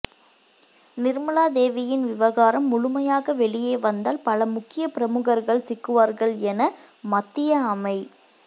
நிர்மலாதேவியின் விவகாரம் முழுமையாக வெளியே வந்தால் பல முக்கிய பிரமுகர்கள் சிக்குவார்கள் என மத்திய அமை